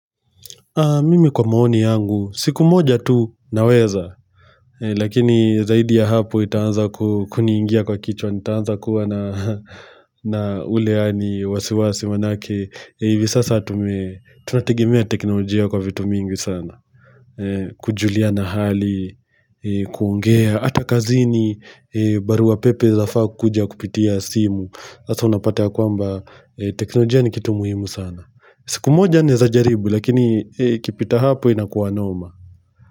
Mimi kwa maoni yangu, siku moja tu naweza, lakini zaidi ya hapo itaanza kuniingia kwa kichwa, itaanza kuwa na ule yaani, wasiwasi maanake, hivi sasa tunategemea teknolojia kwa vitu mingi sana, kujuliana hali, kuongea, hata kazini, barua pepe zafaa kuja kupitia simu, sasa unapata kwamba teknolojia ni kitu muhimu sana siku moja naeza jaribu lakini ikipita hapo inakuwa noma.